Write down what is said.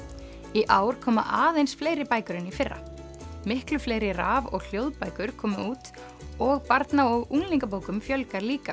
í ár koma aðeins fleiri bækur en í fyrra miklu fleiri raf og hljóðbækur komu út og barna og unglingabókum fjölgar líka